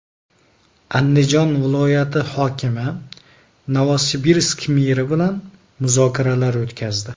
Andijon viloyati hokimi Novosibirsk meri bilan muzokaralar o‘tkazdi.